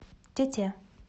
тете